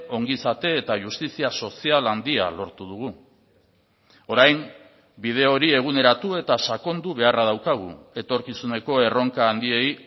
ongizate eta justizia sozial handia lortu dugu orain bide hori eguneratu eta sakondu beharra daukagu etorkizuneko erronka handiei